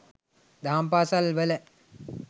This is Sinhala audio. දහම් පාසල් වල